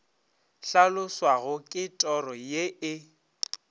hlaloswago ke toro ye e